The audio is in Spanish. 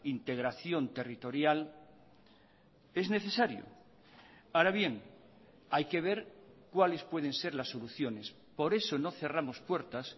integración territorial es necesario ahora bien hay que ver cuáles pueden ser las soluciones por eso no cerramos puertas